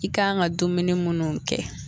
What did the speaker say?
I kan ka dumuni munnu kɛ